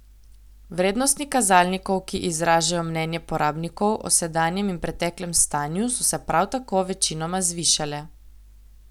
Vrednosti kazalnikov, ki izražajo mnenje porabnikov o sedanjem in preteklem stanju, so se prav tako večinoma zvišale.